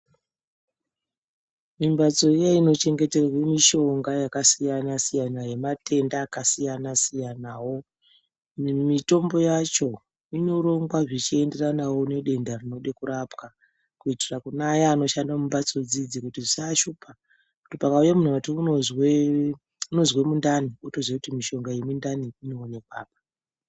Mimbatso iya inochengeterwa mishonga yakasiyana siyana yematenda akasiyana siyanawo mitombo yacho inorongwa zvichienderana nedenda rinoda kurapwa kuitira kuneaya anoshanda mumbatso dzidzi kuti zvisaashupa kuti pakauya ati unozwe mundani otoziya kuti mishonga yemundani inoonekwa apa.